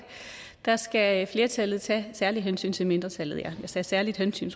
skal flertallet tage særligt hensyn til mindretallet ja jeg sagde særligt hensyn